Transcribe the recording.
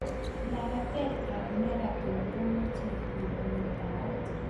lapatetap ap marathon kamachei muitaet